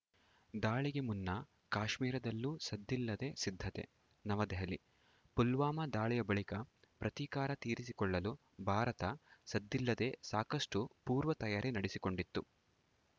ದಾಳಿಗೆ ಮುನ್ನು ಕಾಶ್ಮೀರದಲ್ಲೂ ಸದ್ದಿಲ್ಲದೇ ಸಿದ್ಧತೆ ನವದೆಹಲಿ ಪುಲ್ವಾಮಾ ದಾಳಿಯ ಬಳಿಕ ಪ್ರತೀಕಾರ ತೀರಿಸಿಕೊಳ್ಳಲು ಭಾರತ ಸದ್ದಿಲ್ಲದೆ ಸಾಕಷ್ಟುಪೂರ್ವ ತಯಾರಿ ನಡೆಸಿಕೊಂಡಿತ್ತು